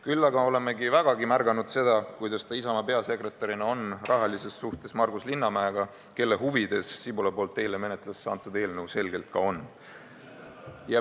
Küll aga oleme vägagi märganud seda, kuidas ta Isamaa peasekretärina on rahalises suhtes Margus Linnamäega, kelle huvides Sibula eile menetlusse antud eelnõu selgelt ka on.